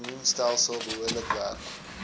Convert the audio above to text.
immuunstelsel behoorlik werk